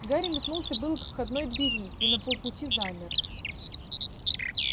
гарри метнулся было к входной двери и на полпути замер